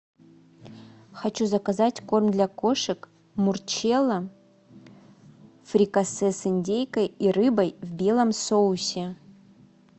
хочу заказать корм для кошек мурчелло фрикасе с индейкой и рыбой в белом соусе